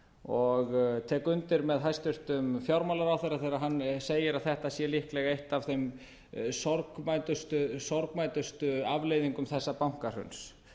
og tek undir með hæstvirtum fjármálaráðherra þegar hann segir að þetta sé líklega eitt af þeim sorgmæddustu afleiðingum þessa bankahruns